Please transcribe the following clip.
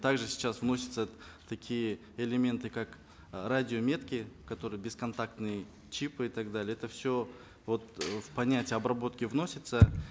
также сейчас вносятся такие элементы как э радиометки которые бесконтактные чипы и так далее это все вот э в понятие обработки вносится